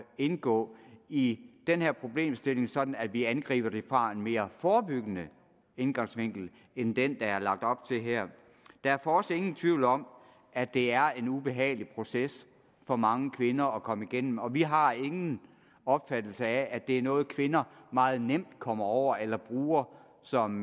indgå i den her problemstilling sådan at vi angriber det fra en mere forebyggende indgangsvinkel end den der er lagt op til her der er for os ingen tvivl om at det er en ubehagelig proces for mange kvinder at komme igennem og vi har ingen opfattelse af at det er noget kvinder meget nemt kommer over eller bruger som